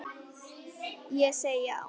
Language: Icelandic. Ég segi já!